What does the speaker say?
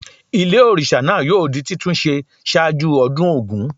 Ilé òrìsà náà yóò di títún se sáájú ọdún Ògún